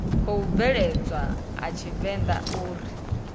khou bveledzwa a tshivenḓa uri